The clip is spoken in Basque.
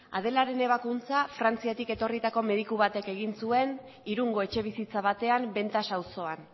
adelaren ebakuntza frantziatik etorritako mediku batek egin zuen irungo etxebizitza batean ventas auzoan